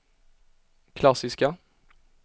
klassiska